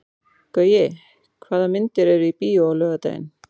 Gaui, hvaða myndir eru í bíó á laugardaginn?